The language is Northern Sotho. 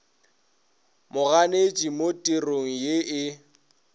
moganetši mo therong ye e